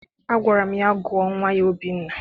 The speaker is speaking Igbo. Agwara m ya, gụọ nnwa ya Obinna!